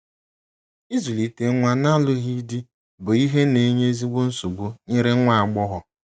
Ịzụlite nwa n’alụghị di bụ ihe n'enye ezigbo nsogbu nyere nwa agbọghọ.